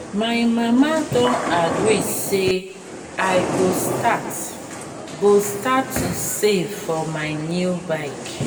my mama don agree say i go start go start to save for my new bike